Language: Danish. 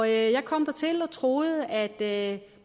jeg kom dertil og troede at